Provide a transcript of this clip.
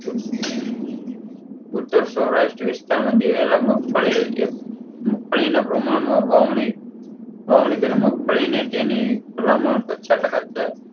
ઉત્તર સૌરાષ્ટ્ર વિસ્તારમાં દિવેલા મગફડી ઍક મગફડીના પ્રમાણમાં વાવણી વાવણી પહેલા મગફડી ને તેની ફલામળ પચાસ ટકા